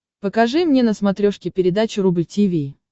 покажи мне на смотрешке передачу рубль ти ви